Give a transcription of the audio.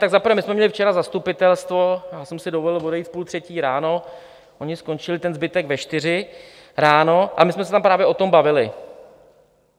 Tak za prvé, my jsme měli včera zastupitelstvo, já jsem si dovolil odejít v půl třetí ráno, oni skončili, ten zbytek, ve čtyři ráno, a my jsme se tam právě o tom bavili.